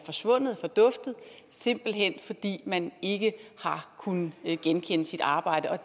forsvundet forduftet simpelt hen fordi man ikke har kunnet genkende sit arbejde